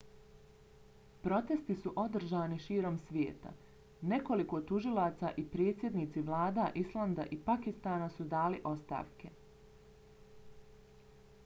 protesti su održani širom svijeta. nekoliko tužilaca i predsjednici vlada islanda i pakistana su dali ostavke